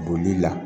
Boli la